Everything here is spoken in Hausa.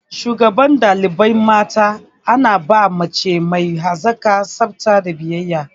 Shugaban ɗalibai mata ana ba mace mai hazaƙa, tsafta da biyayya.